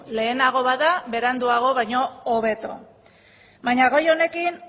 lehenago bada beranduago baino hobeto baina gai honekin